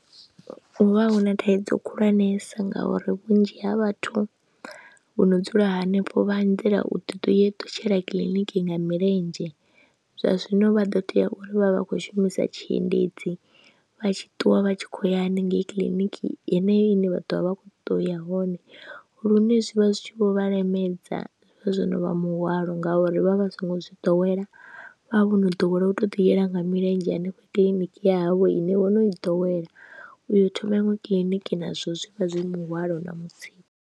Hu vha hu na thaidzo khulwanesa ngauri vhunzhi ha vhathu vho no dzula hanefho vha anzela u ḓi tou ṱutshela kiḽiniki nga milenzhe, zwa zwino vha ḓo tea uri vha vha vha khou shumisa tshiendedzi vha tshi ṱuwa vha tshi khou ya hanengei kiḽiniki yeneyo ine vha ḓo vha vha khou ṱoḓa u ya hone, lune zwi vha zwi tshi vho vha lemedza. Zwi vha zwo no muhwalo ngauri vha vha songo zwi ḓowela, vha vha vho no ḓowela u tou ḓiyela nga milenzhe hanefha kiḽiniki ya havho ine vho no i ḓowela, u yo thoma iṅwe kiḽiniki nazwo zwi vha zwi muhwalo na mutsiko.